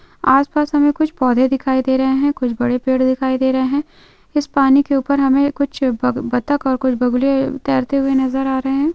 आसपास हमे कुछ पौधे दिखाई दे रहे है कुछ बड़े पेड दिखाई दे रहे है इस पानी के ऊपर हमे कुछ बतक और कुछ बगुले तेरते हुवे नजर आ रहे है।